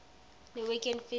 norwegian fish farming